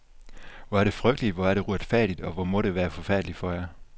Hvor er det frygteligt, hvor er det uretfærdigt, og hvor må det være forfærdeligt for jer.